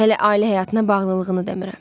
Hələ ailə həyatına bağlılığını demirəm.